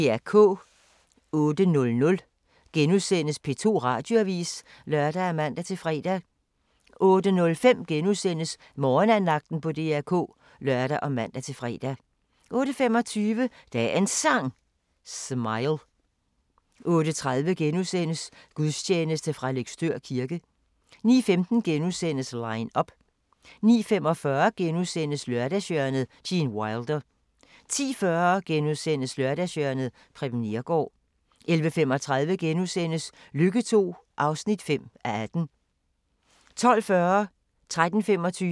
08:00: P2 Radioavis *(lør og man-fre) 08:05: Morgenandagten på DR K *(lør og man-fre) 08:25: Dagens Sang: Smile 08:30: Gudstjeneste fra Løgstør kirke * 09:15: Line up * 09:45: Lørdagshjørnet - Gene Wilder * 10:40: Lørdagshjørnet – Preben Neergaard * 11:35: Lykke II (5:18)* 12:40: aHA! 13:25: aHA!